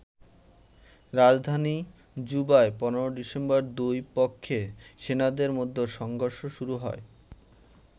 রাজধানী জুবায় ১৫ ডিসেম্বর দুই পক্ষের সেনাদের মধ্যে সংঘর্ষ শুরু হয়।